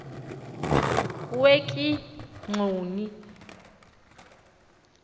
wekigxoni